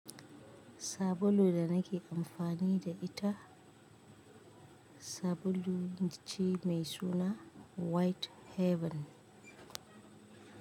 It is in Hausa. Sabulun da nake amfani da ita sabulu ce mai suna White Heaven.